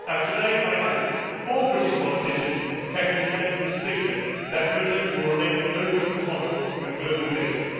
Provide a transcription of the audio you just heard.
Today, I hope all British politicians can unite in stating that Britain will remain an open, tolerant and global nation.